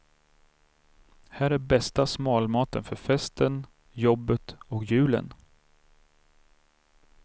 Här är bästa smalmaten för festen, jobbet och julen.